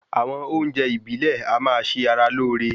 Àwọn oúnjẹ ìbílè a máa ṣe ara lóore